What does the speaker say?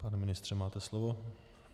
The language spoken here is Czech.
Pane ministře, máte slovo.